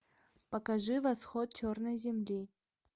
покажи восход черной земли